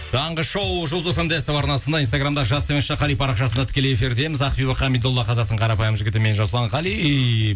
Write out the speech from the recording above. таңғы шоу жұлдыз фм де ств арнасында инстаграмда жас қали парақшасында тікелей эфирдеміз ақбибі хамидолла қазақтың қарапайым жігіті мен жасұлан қали